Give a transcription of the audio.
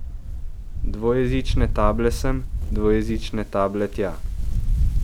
Dvojezične table sem, dvojezične table tja.